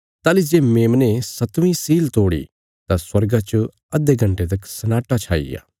ताहली जे मेमने सतवीं सील तोड़ी तां स्वर्गा च अधे घण्टे तक सन्नाटा छाईग्या